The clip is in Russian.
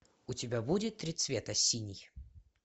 у тебя будет три цвета синий